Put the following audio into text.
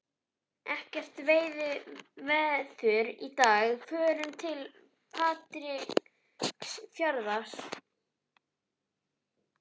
Ekkert veiðiveður í dag, förum til Patreksfjarðar.